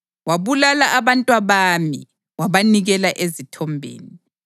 Wabulala abantwabami wabanikela ezithombeni.